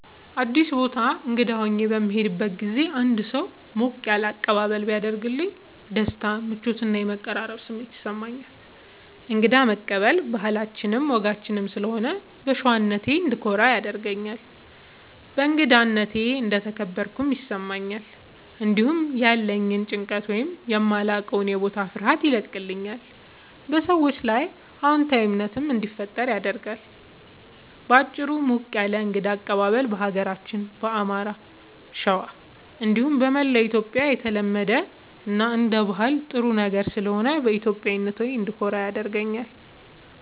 አዲስ ቦታ እንግዳ ሆኜ በምሄድበት ጊዜ አንድ ሰው ሞቅ ያለ አቀባበል ቢያደርግልኝ ደስታ፣ ምቾት እና የመቀራረብ ስሜት ይሰማኛል። እንግዳ መቀበል ባህላችንም ወጋችንም ስለሆነ በሸዋነቴ እንድኮራ ያደርገኛል። በእንግዳነቴ እንደተከበርኩም ይሰማኛል። እንዲሁም ያለኝን ጭንቀት ወይም የማላዉቀዉ የቦታ ፍርሃት ያቀልልኛል፣ በሰዎቹም ላይ አዎንታዊ እምነት እንዲፈጠር ያደርጋል። በአጭሩ፣ ሞቅ ያለ የእንግዳ አቀባበል በሀገራችን በአማራ(ሸዋ) እንዲሁም በመላዉ ኢትዮጽያ የተለመደ እና አንደ ባህል ጥሩ ነገር ስለሆነ በኢትዮጵያዊነቴ እንድኮራ ያደርገኛል።